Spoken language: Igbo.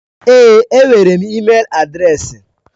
Èé, enwere m ịmel adreesị.